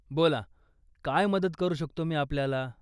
बोला, काय मदत करू शकतो मी आपल्याला?